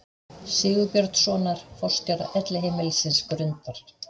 Sigurbjörnssonar, forstjóra Elliheimilisins Grundar.